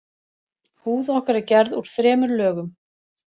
Húð okkar er gerð úr þremur lögum.